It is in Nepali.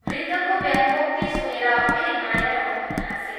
वृद्धको व्यंङ्गोक्ति सुनेर फेरि माया र मोहन हाँसे।